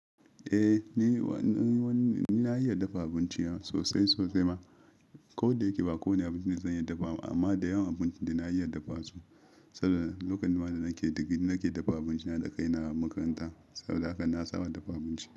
Eh ni na iya dafa abinci sosai sosai ma, ko da yake ba kowane abinci zan iya dafawa amma da yawan abinci dana iya dafa su. Saboda lokaci ma da nake da digiri nake dafa abinci na da kai na a makaranta, saboda haka na saba dafa abinci.